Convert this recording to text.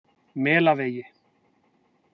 Melavegi